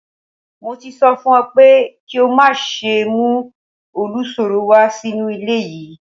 Mo ti sọ fún ọ pé kí o má ṣe mú olùsọ̀rọ̀ wá sínú ilé yìí